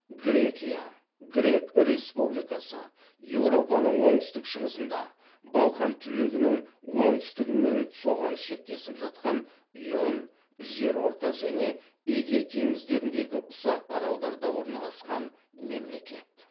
грекия грек республикасы еуропаның оңтүстік шығысында балқан түбегінің оңтүстігі мен соған шектесіп жатқан ион жерорта және эгей теңіздеріндегі ұсақ аралдарда орналасқан мемлекет